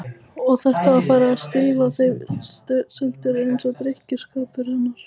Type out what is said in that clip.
Og þetta var farið að stía þeim í sundur, eins og drykkjuskapur hennar.